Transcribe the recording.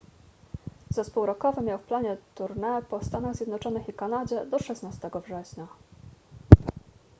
zespół rockowy miał w planie tournée po stanach zjednoczonych i kanadzie do 16 września